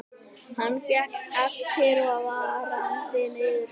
Hann fékk eftirfarandi niðurstöðu: